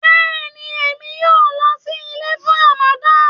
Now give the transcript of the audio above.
Bẹ̀ẹ̀ni, emi yọ̀ọ̀ lọ sí ilẹ̀ fún Ràmádán